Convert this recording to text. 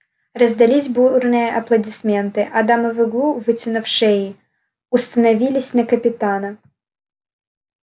раздались бурные аплодисменты а дамы в углу вытянув шеи установились на капитана